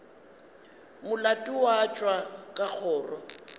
molato wa tšwa ka kgoro